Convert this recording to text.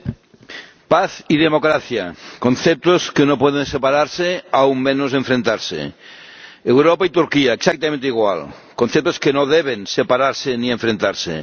Señora Presidenta, paz y democracia conceptos que no pueden separarse, aún menos enfrentarse. Europa y Turquía, exactamente igual conceptos que no deben separarse ni enfrentarse.